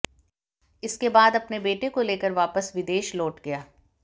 इसके बाद अपने बेटे को लेकर वापस विदेश लौट गया